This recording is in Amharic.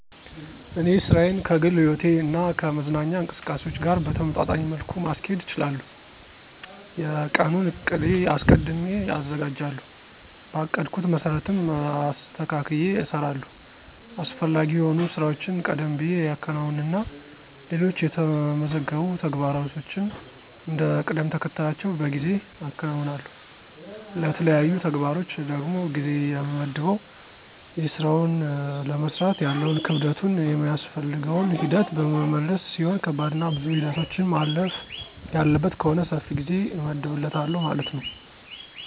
እኔ ሥራዬን ከግል ሕይወቴ እና ከመዝናኛ እንቅስቃሴዎች ጋር በተመጣጣኝ መልኩ ማስኬድ እችላለሁ። የቀኑን ዕቅድ አስቀድሜ አዘጋጃለሁ, በአቀድኩት መሰረትም አስተካክየ እሰራለሁ። አስፈላጊ የሆኑ ሥራዎችን ቀደም ብየ አከናውንና ሌሎች የተመዘገቡ ተግባሮችን እንደ ቅደምተከተላቸው በጊዜ አከናውናለሁ። ለተለያዩ ተግባሮች ደግሞ ጊዜ የምመድበው የስራውን ለመስራት ያለውን ክብደቱን ,የሚያስፈልገውን ሂደት በመመልከት ሲሆን ከባድና ብዙ ሂደቶችን ማለፍ ያለበት ከሆነ ሰፊ ጊዜ እመድብለታለሁ ማለት ነው።